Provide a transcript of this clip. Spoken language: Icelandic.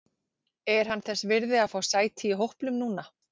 Er hann þess virði að fá sæti í hópnum núna?